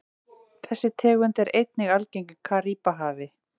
Þessi tegund er einnig algeng í Karíbahafi.